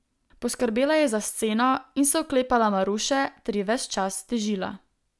Poskrbela je za sceno in se oklepala Maruše ter ji ves čas težila.